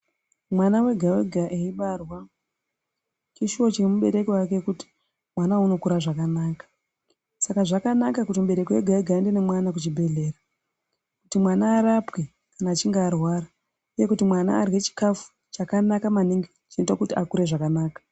Mwana wega-wega eibarwa, chishuwo chemubereki wake kuti mwana uwu unokura zvakanaka. Saka zvakanaka kuti mubereki wege-ega aende nemwana kuchibhedhlera kuti mwana arapwe kana achinge arwara uye kuti mwana arye chikafu chakanaka maningi chinoita kuti akure zvakanaka